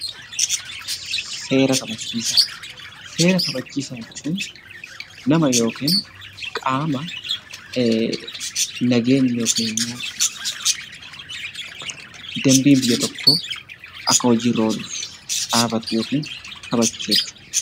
Seera kabachiisaa. Seera kabachiisaa jechuun nama yookin qaama nageenyi yookin immoo dambiin biyya tokkoo akka hojiirra ooluf dhaabatu yookin kabachiisu jechuudha.